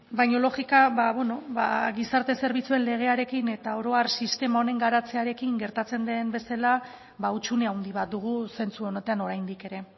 baino logika ba bueno ba gizarte zerbitzuen legearekin eta oro har sistema honen garatzearekin gertatzen den bezala ba hutsune handi ba dugu sentsu honetan oraindik ere